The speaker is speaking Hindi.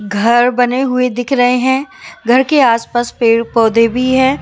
घर बने हुए दिख रहे हैं घर के आस पास पेड़ पौधे भी है।